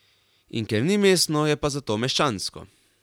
In ker ni mestno, je pa zato meščansko.